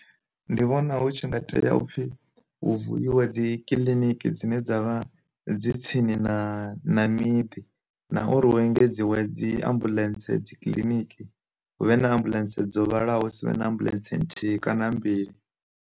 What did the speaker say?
Ndi vhona hu tshi nga tea upfhi hu vuiwe dzi kiḽiniki dzine dza vha dzi tsini na na miḓi, na uri u engedziwa dzi ambuḽentse dzikiḽiniki hu vhe na ambulance dzo vhalaho sivhe na ambuḽentse nthihi kana mbili.